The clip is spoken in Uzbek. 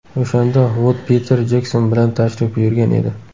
O‘shanda Vud Piter Jekson bilan tashrif buyurgan edi.